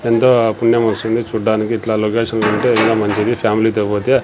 ఎంతో పుణ్యం వస్తుంది చూడ్డానికి ఇట్లా లోకేషన్ ఉంటే ఇంగా మంచిది ఫ్యామిలీ తో పోతే.